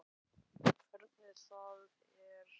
Hvernig það er að sjá nemendur sína nokkrum árum síðar.